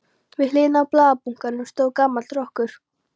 Við hliðina á blaðabunkanum stóð gamall rokkur.